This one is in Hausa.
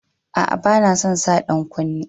A a, bana son sa dan kunne.